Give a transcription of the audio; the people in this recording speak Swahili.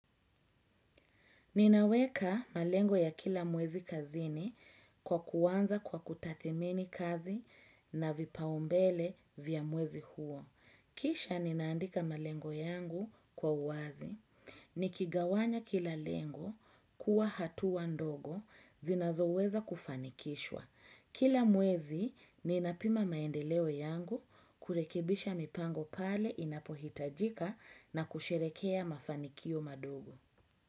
Ninaweka malengo ya kila mwezi kazini kwa kuanza kwa kutathmini kazi na vipaumbele vya mwezi huo. Kisha ninaandika malengo yangu kwa uwazi nikigawanya kila lengo kuwa hatuwa ndogo zinazoweza kufanikishwa. Kila mwezi ninapima maendeleo yangu kurekebisha mipango pale inapohitajika na kusherehekea mafanikio madogo.